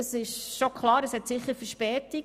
Sicher hat dieses Verspätung.